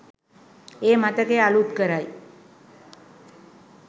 ඒ මතකය අලුත් කරයි.